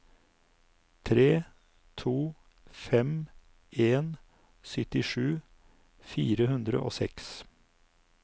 tre to fem en syttisju fire hundre og seks